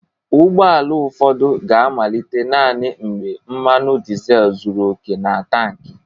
Ụgbọ ala ụfọdụ ga-amalite naanị mgbe mmanụ dizel zuru oke na tankị